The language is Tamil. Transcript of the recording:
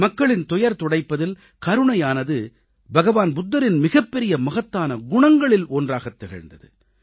மக்களின் துயர் துடைப்பதில் கருணையானது புத்தபிரானின் மிகப்பெரிய மகத்தான குணங்களில் ஒன்றாகத் திகழ்ந்தது